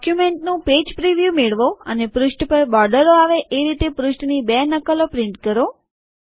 ડોક્યુમેન્ટનું page preview મેળવો અને પૃષ્ઠ પર બોર્ડરો આવે એ રીતે પૃષ્ઠની બે નકલો પ્રિન્ટ કરો